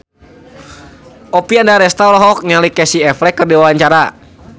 Oppie Andaresta olohok ningali Casey Affleck keur diwawancara